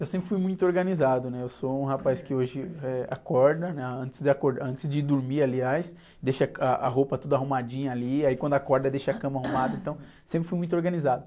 Eu sempre fui muito organizado, né? Eu sou um rapaz que hoje, eh, acorda, né? Antes de acordar, antes de dormir aliás, deixa a, a roupa toda arrumadinha ali, aí quando acorda deixa a cama arrumada, então sempre fui muito organizado.